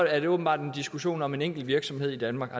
er det åbenbart en diskussion om en enkelt virksomhed i danmark